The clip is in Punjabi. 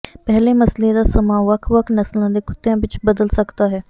ਪਹਿਲੇ ਮਸਲੇ ਦਾ ਸਮਾਂ ਵੱਖ ਵੱਖ ਨਸਲਾਂ ਦੇ ਕੁੱਤਿਆਂ ਵਿਚ ਬਦਲ ਸਕਦਾ ਹੈ